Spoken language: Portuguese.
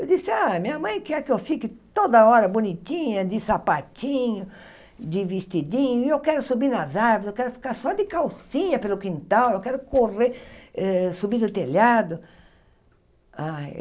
Eu disse, ah minha mãe quer que eu fique toda hora bonitinha, de sapatinho, de vestidinho, e eu quero subir nas árvores, eu quero ficar só de calcinha pelo quintal, eu quero correr, eh subir no telhado.